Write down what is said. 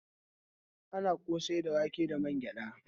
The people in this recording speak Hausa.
Ana kosai da wake da wangyada.